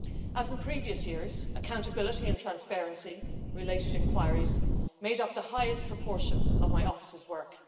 As in previous years, accountability and transparency related inquiries made up the highest proportion of my office's work.